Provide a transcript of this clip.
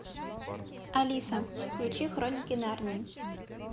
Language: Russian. алиса включи хроники нарнии